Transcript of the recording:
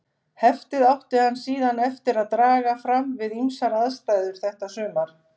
Heftið átti hann síðan eftir að draga fram við ýmsar aðstæður þetta sumar.